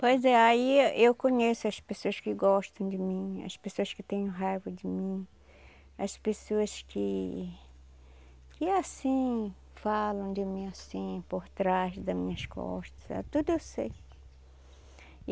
Pois é, aí eu conheço as pessoas que gostam de mim, as pessoas que têm raiva de mim, as pessoas que... que assim, falam de mim assim, por trás das minhas costas, sabe, tudo eu sei.